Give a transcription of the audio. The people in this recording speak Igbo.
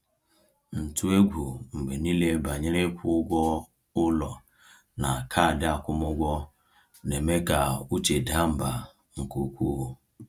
Ntụ egwu mgbe niile banyere ịkwụ ụgwọ ụlọ na kaadị akwụmụgwọ na-eme ka uche daa mbà nke ukwuu.